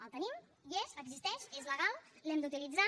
el tenim hi és existeix és legal l’hem d’utilitzar